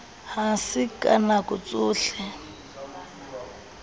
ha se ka nako tsohle